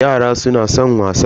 Yara suna san wasa.